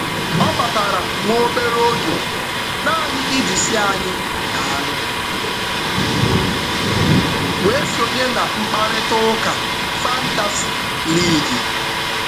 Ọ batara nwa obere oge naanị iji sị anyị daalụ, wee sonye na mkparịtaụka fantasi liigi.